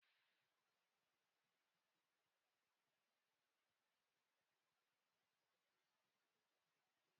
Dị ka onye injinia kọmpụta, ị ga-enwezurịrị ákàrà soshal midia atọ dị iche iche na-arụ ọrụ